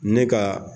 Ne ka